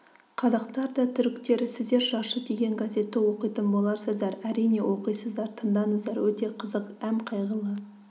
қазақтар да түріктер сіздер жаршы деген газетті оқитын боларсыздар әрине оқисыздар тыңдаңыздар өте қызық әм қайғылы